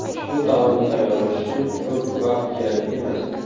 Ushbu taomni tayyorlash uchun ko‘p vaqt kerak emas.